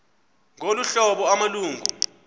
ngolu hlobo amalungu